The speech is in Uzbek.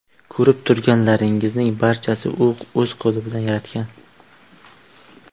Ko‘rib turganlaringizning barchasini u o‘z qo‘li bilan yaratgan.